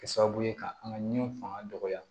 Kɛ sababu ye ka an ka ɲɛ faŋa dɔgɔya